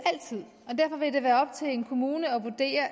og derfor vil det være op til en kommune at vurdere